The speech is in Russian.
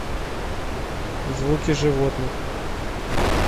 звуки животных